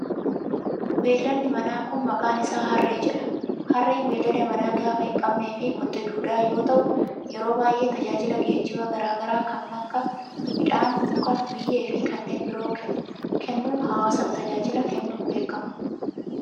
Beeyladni manaa kun, maqaan isaa harree jedhama. Harreen beeyilada manaa gaafa hin qabne fi kotte duudaa yoo taa'u, yeroo baay'ee tajaajila geejibaa garaa garaa kan akka:midhaanii, mukaa, biyyee fi kanneen biroo kennuun hawaasaf tajaajila kennuun beekama.